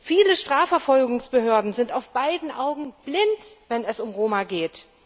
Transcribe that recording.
Viele Strafverfolgungsbehörden sind auf beiden Augen blind, wenn es um Roma geht.